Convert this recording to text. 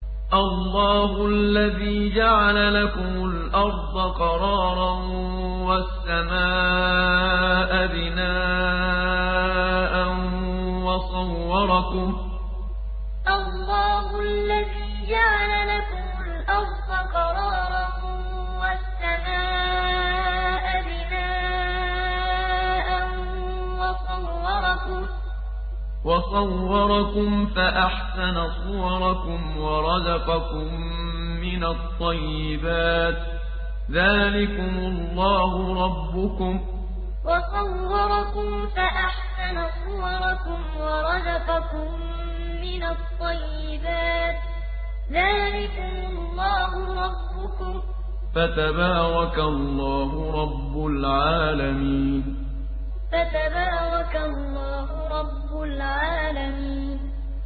اللَّهُ الَّذِي جَعَلَ لَكُمُ الْأَرْضَ قَرَارًا وَالسَّمَاءَ بِنَاءً وَصَوَّرَكُمْ فَأَحْسَنَ صُوَرَكُمْ وَرَزَقَكُم مِّنَ الطَّيِّبَاتِ ۚ ذَٰلِكُمُ اللَّهُ رَبُّكُمْ ۖ فَتَبَارَكَ اللَّهُ رَبُّ الْعَالَمِينَ اللَّهُ الَّذِي جَعَلَ لَكُمُ الْأَرْضَ قَرَارًا وَالسَّمَاءَ بِنَاءً وَصَوَّرَكُمْ فَأَحْسَنَ صُوَرَكُمْ وَرَزَقَكُم مِّنَ الطَّيِّبَاتِ ۚ ذَٰلِكُمُ اللَّهُ رَبُّكُمْ ۖ فَتَبَارَكَ اللَّهُ رَبُّ الْعَالَمِينَ